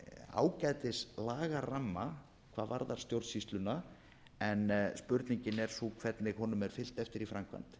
ágætis lagaramma hvað varðar stjórnsýsluna en spurningin er sú hvernig honum er fylgt eftir í framkvæmd